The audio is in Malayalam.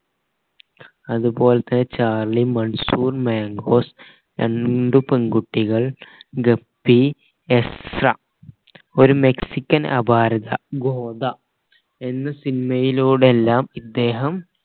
അത് പോലെ തന്നെ ചാർലി മൺസൂൺ മംഗോസ് രണ്ട് പെൺകുട്ടികൾ ഗപ്പി എസ്ര ഒരു മെക്സിക്കൻ അപാരത ഗോദ എന്ന cinema യിലൂടെല്ലാം ഇദ്ദേഹം